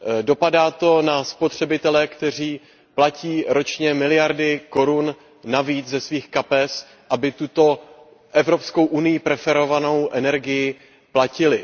Dopadá to na spotřebitele, kteří platí ročně miliardy korun, navíc ze svých kapes, aby tuto EU preferovanou energii platili.